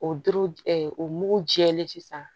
O dɔrɔ o mugu jɛlen sisan